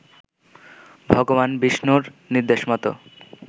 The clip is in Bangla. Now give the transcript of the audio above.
ভগবান বিষ্ণুর নির্দেশমত